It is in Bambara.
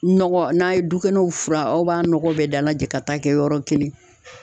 Nɔgɔ n'a ye dukɛnɛw furan aw b'a nɔgɔ bɛɛ dalajɛ ka taa kɛ yɔrɔ kelen.